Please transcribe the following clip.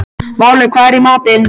Váli, hvað er í matinn?